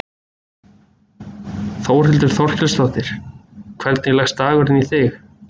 Þórhildur Þorkelsdóttir: Hvernig leggst dagurinn í þig?